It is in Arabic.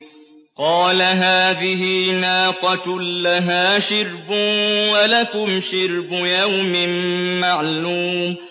قَالَ هَٰذِهِ نَاقَةٌ لَّهَا شِرْبٌ وَلَكُمْ شِرْبُ يَوْمٍ مَّعْلُومٍ